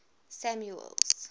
samuel's